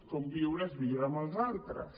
conviure és viure amb els altres